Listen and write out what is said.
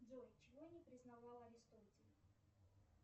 джой чего не признавал аристотель